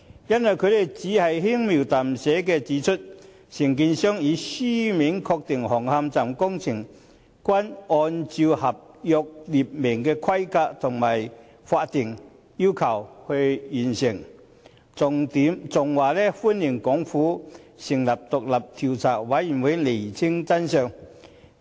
原因是他們只是輕描淡寫地指出，承建商已書面確認，紅磡站工程均按照合約列明的規格及法定要求完成，還表示歡迎港府成立獨立調查委員會釐清真相。